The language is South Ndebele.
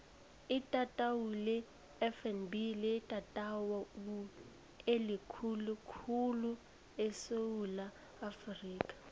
itatawu lefnb litatawu elikhulu khulu esewula afrika